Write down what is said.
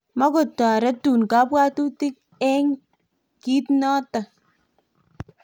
mukutoretun kabwatutik eng' kito noto